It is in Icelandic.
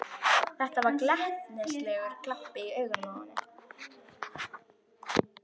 Það var glettnislegur glampi í augunum á henni.